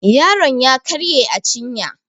yaron ya karye a cinya